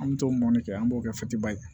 An me t'o mɔ ne kɛ an b'o kɛtiba ye